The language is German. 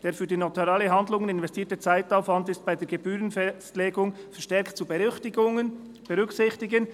«Der für notarielle Handlungen investierte Zeitaufwand ist bei der Gebührenfestlegung verstärkt zu berücksichtigen.»